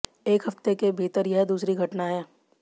एक हफ्ते के भीतर यह दूसरी घटना है